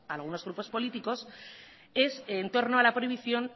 a algunos grupos políticos es en torno a la prohibición